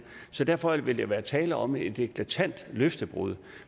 så derfor vil der være tale om et eklatant løftebrud